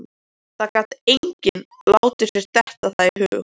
Það gat enginn látið sér detta það í hug.